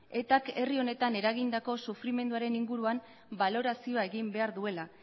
etak herri honetan eragindako sufrimenduaren inguruan balorazioa egin behar duela